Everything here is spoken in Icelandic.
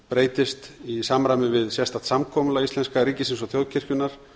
breytist í samræmi við sérstakt samkomulagi íslenska ríkisins og þjóðkirkjunnar